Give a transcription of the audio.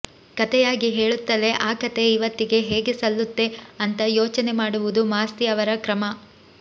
ಕಥೆಯಾಗಿ ಹೇಳುತ್ತಲೇ ಆ ಕಥೆ ಇವತ್ತಿಗೆ ಹೇಗೆ ಸಲ್ಲುತ್ತೆ ಅಂತ ಯೋಚನೆ ಮಾಡುವುದು ಮಾಸ್ತಿ ಅವರ ಕ್ರಮ